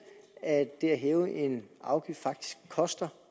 at det at hæve en afgift faktisk koster